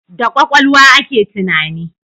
Da kwakwalwa ake tunani